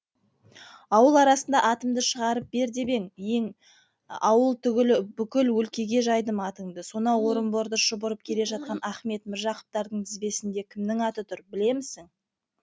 ауыл арасына атымды шығарып бер ең ауыл түгіл бүкіл өлкеге жайдым атынды сонау орынбордан шұбырып келе жатқан ахмет міржақыптардың тізбесінде кімнің аты тұр білемісің